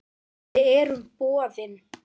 Við erum boðin.